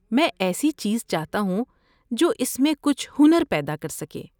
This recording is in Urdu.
میں ایسی چیز چاہتا ہوں جو اس میں کچھ ہنر پیدا کر سکے۔